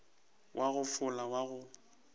wa go fola wa go